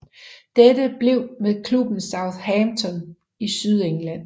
Dette blev med klubben Southampton i Sydengland